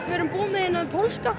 við erum búnir með þennan pólska